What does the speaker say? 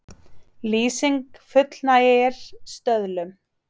Lýsing fullnægir stöðlum